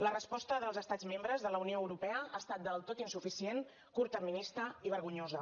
la resposta dels estats membres de la unió europea ha estat del tot insuficient curtterminista i vergonyosa